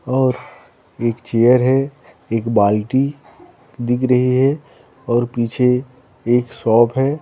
और एक चेयर है एक बाल्टी दिख रही है और पीछे एक शॉप है।